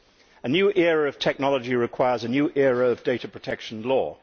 A new era of technology requires a new era of data protection law.